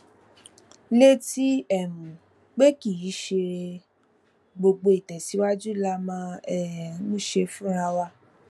létí um pé kì í ṣe gbogbo ìtèsíwájú la máa um ń ṣe fúnra wa